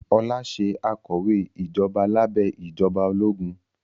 Ọlá ṣe akọ̀wé ìjọba lábẹ́ ìjọba ológun